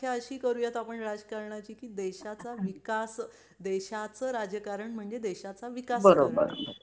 अशी करू यात राजकारणाची की देशाचा विकास देशाचं राजकारण म्हणजे देशा चा विकास